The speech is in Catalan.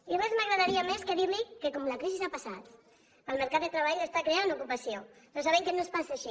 i res m’agradaria més que dir li que com que la crisi ha passat el mercat de treball està creant ocupació però sabem que no és pas així